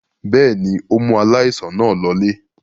Bẹ́ẹ̀ ni, ó mú aláìsàn náà lọlé.